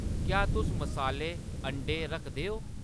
क्या तुस मसाले, अंडें रखदे ओ ?